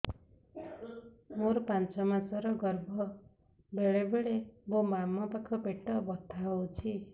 ମୋର ପାଞ୍ଚ ମାସ ର ଗର୍ଭ ବେଳେ ବେଳେ ମୋ ବାମ ପାଖ ପେଟ ବଥା ହଉଛି